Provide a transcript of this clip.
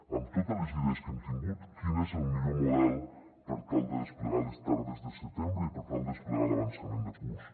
amb totes les idees que hem tingut quin és el millor model per tal de desplegar les tardes de setembre i per tal de desplegar l’avançament de curs